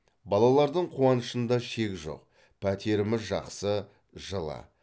балалардың қуанышында шек жоқ пәтеріміз жақсы жылы